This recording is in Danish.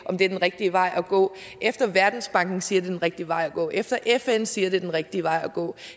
om det er den rigtige vej at gå efter at verdensbanken siger at den rigtig vej at gå efter at fn siger at det er den rigtige vej at gå